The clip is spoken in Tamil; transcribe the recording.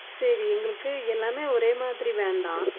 சரி எங்களுக்கு எல்லாமே ஒரே மாதிரி வேண்டாம்